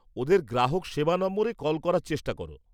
ওদের গ্রাহক সেবা নম্বরে কল করার চেষ্টা কর।